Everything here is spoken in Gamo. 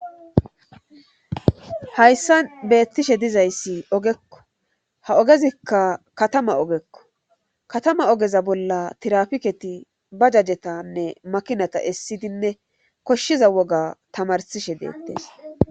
Hayssa beettishe dizayssi ogekko ha ogezikka katama ogekko katama ogeza bolla tirapiketi ba jajetanne makinata essidinne koshshiza woga tamarsishe deettes.